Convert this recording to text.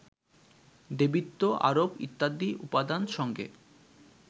দেবীত্ব আরোপ ইত্যাদি উপাদান সঙ্গে